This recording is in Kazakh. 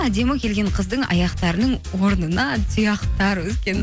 әдемі келген қыздың аяқтарының орнына тұяқтар өскен